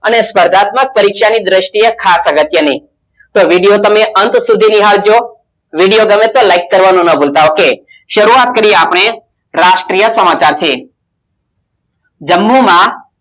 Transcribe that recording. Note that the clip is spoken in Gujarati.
અને સ્પર્ધાત્મક પરીક્ષાની દ્રષ્ટિએ ખાસ અગત્યની Video તમે અંત સુધી નિહાળજો Video ગમે તો like કરવાનું ના ભૂલતા ok શરૂઆત કરીએ આપણે રાષ્ટ્રીય સમાચાર થી જમ્મુમા